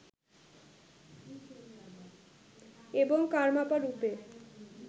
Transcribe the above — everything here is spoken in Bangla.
এবং কারমাপা রূপে